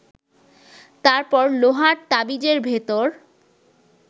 তারপর লোহার তাবিজের ভেতর